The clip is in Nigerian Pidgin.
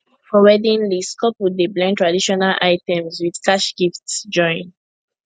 for wedding list couple dey blend traditional items with cash gifts join